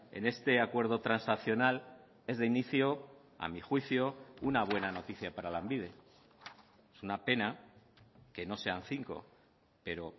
en este acuerdo transaccional es de inicio a mi juicio una buena noticia para lanbide es una pena que no sean cinco pero